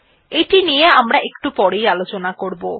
এটি নিয়ে আমরা এমরা একটু পরেই আলোচনা করবো